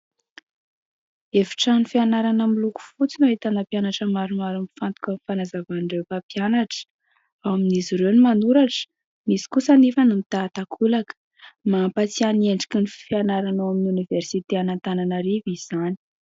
Efitrano fianarana miloko fotsy no ahitana mpianatra maromaro mifantoka amin'ny fanazavan'ireo mpampianatra, ao amin'izy ireo ny manoratra, misy kosa anefa ny mitahan-takolaka, mampatsiahy ny endriky ny fianarana ao amin'ny Oniveriste an'Antananarivo izany.